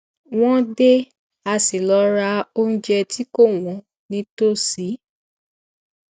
wọn dé a sì lọ ra onjẹ tí kò wón nítòsí